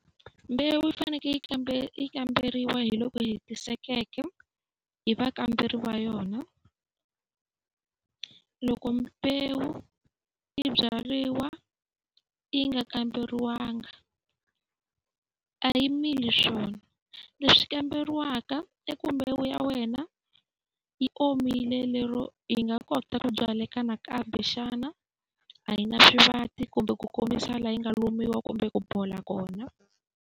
Mbewu yi fanekele yi kambe yi kamberiwa hi loku hetisekeke hi vakamberi va yona. Loko mbewu yi byariwa yi nga kamberiwangi a yi mili swona. Leswi komberiwaka i ku mbewu ya wena yi omile lero yi nga kota ku byaleka nakambe xana. A yi na swivati kumbe ku kombisa laha yi nga lumiwa kumbe ku bola kona.